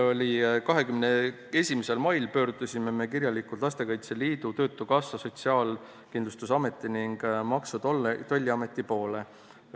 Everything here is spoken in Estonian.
21. mail me pöördusime kirjalikult Lastekaitse Liidu, Eesti Töötukassa, Sotsiaalkindlustusameti ning Maksu- ja Tolliameti poole.